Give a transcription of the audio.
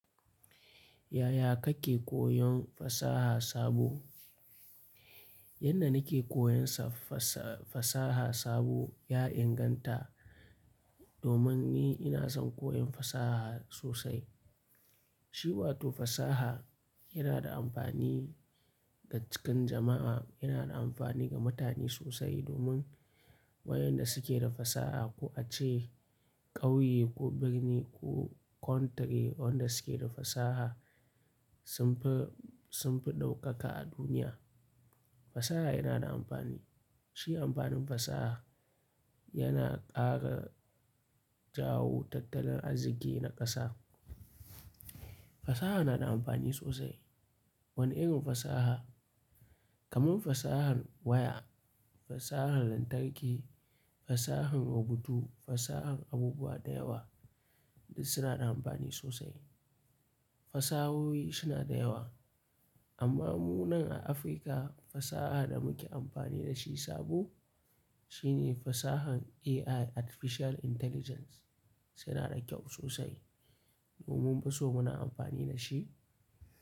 Yaya kake koyon fasaha sabo? Yanda nake koyan sa fasaha sabo ya inganta domin ni ina son koyon fasaha sosai. Shi wato fasaha yana da amfani ga cikin jama'a, yana da amfani ga mutane sosai domin waƴanda suke da fasaha ko ace ƙauye ko birni ko country wanda suke da fasaha sun fi, sun fi ɗaukaka a duniya. Fasaha yana da amfani. Shi amfanin fasaha yana ƙara jawo tattalin arziki na ƙasa. Fasaha na da amfani sosai. Wani irin fasaha? Kaman fasahar waya, fasahar lantarki, fasahar rubutu, fasahar abubuwa da yawa duk suna da amfani sosai. Fasahohi suna da yawa. Amma mu nan a Afrika fasaha da muke amfani da shi sabo shine fasahar AI Artificial Intelligence suna da kyau sosai. Mumun fiso muna amfani da shi.